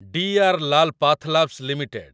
DR. Lal PathLabs limited